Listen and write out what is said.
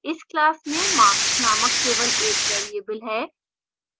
इस class में marks named केवल एक variable है